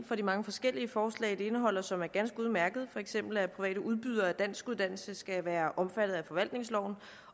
for de mange forskellige forslag som det indeholder og som er ganske udmærkede for eksempel at private udbydere af danskuddannelse skal være omfattet af forvaltningsloven